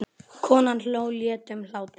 Konan hló léttum hlátri.